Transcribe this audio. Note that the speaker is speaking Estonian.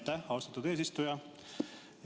Aitäh, austatud eesistuja!